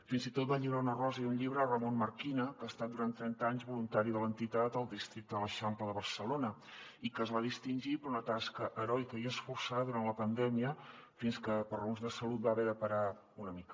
fins i tot va lliurar una rosa i un llibre a ramón marquina que ha estat durant trenta anys voluntari de l’entitat al districte de l’eixample de barcelona i que es va distingir per una tasca heroica i esforçada durant la pandèmia fins que per raons de salut va haver de parar una mica